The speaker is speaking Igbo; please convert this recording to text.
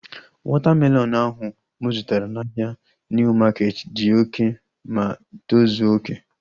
Wọta melọnu ahu mụ zụtara n'ahia Niu maketi dị oké ma tozuo oké